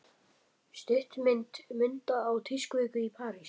Stuttmynd Munda á tískuviku í París